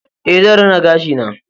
Ae, zan rina gashi na